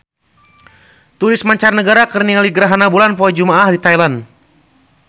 Turis mancanagara keur ningali gerhana bulan poe Jumaah di Thailand